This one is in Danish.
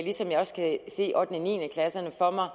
ligesom jeg også kan se ottende niende klasserne for mig